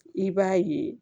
I b'a ye